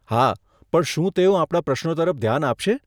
હા, પણ શું તેઓ આપણા પ્રશ્નો તરફ ધ્યાન આપશે?